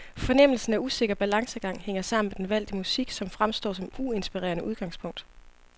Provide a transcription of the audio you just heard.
Fornemmelsen af usikker balancegang hænger sammen med den valgte musik, som fremstår som uinspirerende udgangspunkt.